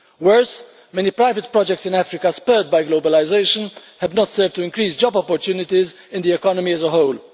Worse, many private projects in Africa, spurred by globalisation, have not served to increase job opportunities in the economy as a whole.